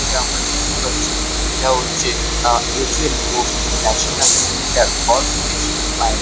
এটা আমরা দেখতে পাচ্ছি এটা হচ্ছে uh S M. Bose national centre for basic mind.